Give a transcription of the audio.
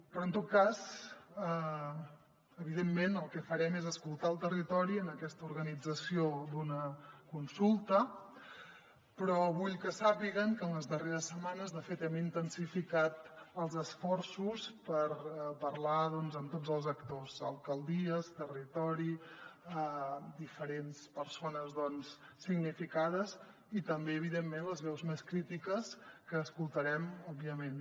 però en tot cas evidentment el que farem és escoltar el territori en aquesta organització d’una consulta però vull que sàpiguen que en les darreres setmanes de fet hem intensificat els esforços per parlar doncs amb tots els actors alcaldies territori diferents persones significades i també evidentment les veus més crítiques que escoltarem òbviament